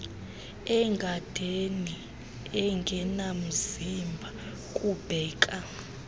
egadeni engenamzimba kubheka